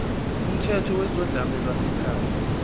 kumthetho wezodlame lwasekhaya